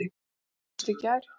Við hittumst í gær.